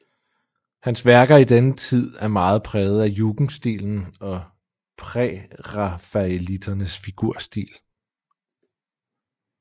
Hans værker i denne tid er meget præget af jugendstilen og prærafaelitternes figurstil